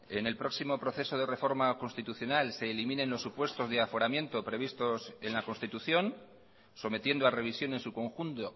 en el próximo proceso de reforma constitucional se eliminen los supuestosde aforamiento previstos en la constitución sometiendo a revisión en su conjunto